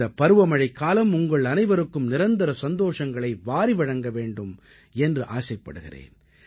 இந்தப் பருவமழைக்காலம் உங்களனைவருக்கும் நிரந்தர சந்தோஷங்களை வாரி வழங்க வேண்டும் என்று ஆசைப்படுகிறேன்